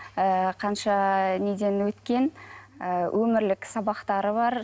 ыыы қанша неден өткен ы өмірлік сабақтары бар